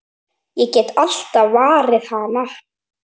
Ég get alltaf varið hana!